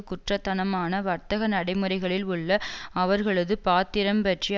குற்றத்தனமான வர்த்தக நடைமுறைகளில் உள்ள அவர்களது பாத்திரம் பற்றி